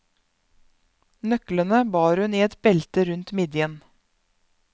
Nøklene bar hun i et belte rundt midjen.